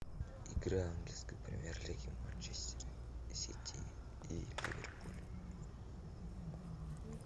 игра английской премьер лиги манчестер сити и ливерпуль